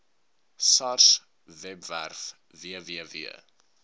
sars webwerf www